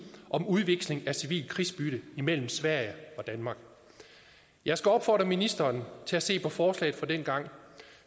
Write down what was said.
om udveksling af civilt krigsbytte imellem sverige og danmark jeg skal opfordre ministeren til at se på forslaget fra dengang